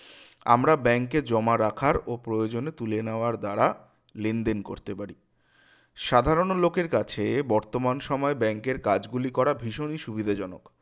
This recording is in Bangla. আমরা bank এ জমা রাখার বা প্রয়োজনে তুলে নেওয়ার দ্বারা লেনদেন করতে পারি সাধারণ লোকের কাছে বর্তমান সময়ে bank এর কাজগুলি করা ভীষণই সুবিধাজনক